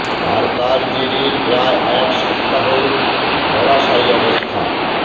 আর তার জেরে প্রায় এক সপ্তাহ ধরাশায়ী অবস্থা হ